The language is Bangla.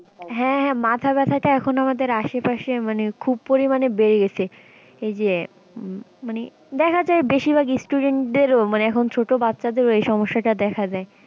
হ্যাঁ হ্যাঁ মাথা ব্যাথা টা এখন আমাদের আশেপাশে মানে খুব পরিমানে বেড়ে গেছে এই যে মানে দেখা যায় বেশির ভাগ student মানে এখন ছোটো বাচ্চা দেরও এই সমস্যা টা দেখা যায়।